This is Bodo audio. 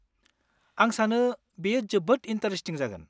आं सानो बेयो जोबोद ईनटारेस्टिं जागोन।